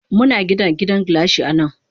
Muna Gina gidan gilashi anan.